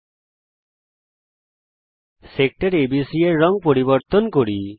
এখন sector ABC এর রঙ পরিবর্তন করা যাক